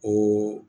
O